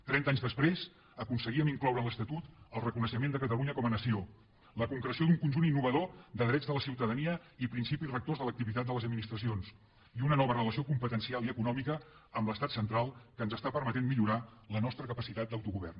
trenta anys després aconseguíem incloure en l’estatut el reconeixement de catalunya com a nació la concreció d’un conjunt innovador de drets de la ciutadania i principis rectors de l’activitat de les administracions i una nova relació competencial i econòmica amb l’estat central que ens permet millorar la nostra capacitat d’autogovern